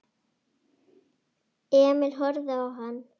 Emil horfði á hann.